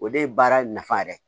O de ye baara nafa yɛrɛ